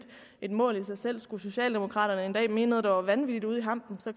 et mål i sig selv skulle socialdemokraterne en dag mene noget der var vanvittig langt ude i hampen